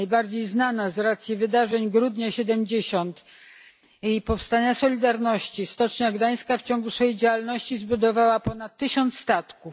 Najbardziej znana z racji wydarzeń grudnia 70 i powstania Solidarności Stocznia Gdańska w ciągu swojej działalności zbudowała ponad tysiąc statków.